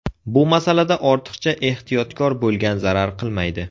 Bu masalada ortiqcha ehtiyotkor bo‘lgan zarar qilmaydi.